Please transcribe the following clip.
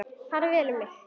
Farið vel um mig?